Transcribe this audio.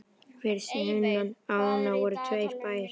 Fyrir sunnan ána voru tveir bæir.